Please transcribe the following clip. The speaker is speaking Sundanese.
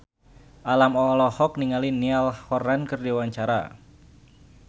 Alam olohok ningali Niall Horran keur diwawancara